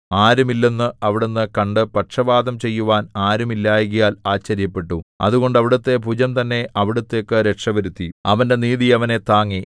ആരും ഇല്ലെന്ന് അവിടുന്ന് കണ്ടു പക്ഷവാദം ചെയ്യുവാൻ ആരും ഇല്ലായ്കയാൽ ആശ്ചര്യപ്പെട്ടു അതുകൊണ്ട് അവിടുത്തെ ഭുജം തന്നെ അവിടുത്തേക്കു രക്ഷവരുത്തി അവന്റെ നീതി അവനെ താങ്ങി